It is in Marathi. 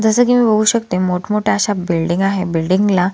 जसं कि मी बघू शकते मोठ मोठ्या अश्या बिल्डिंग आहेत बिल्डिंग ला--